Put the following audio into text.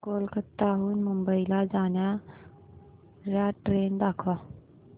कोलकाता हून मुंबई ला जाणार्या ट्रेन दाखवा